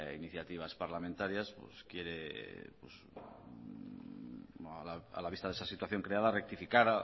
iniciativas parlamentarias pues quiere a la vista de esa situación creada rectificar